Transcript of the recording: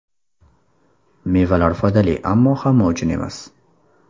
Mevalar foydali, ammo hamma uchun emas.